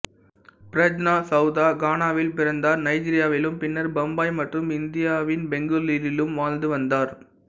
பிரஜ்னா சவுதா கானாவில் பிறந்தார் நைஜீரியாவிலும் பின்னர் பம்பாய் மற்றும் இந்தியாவின் பெங்களூரிலும் வாழ்ந்து வந்தார்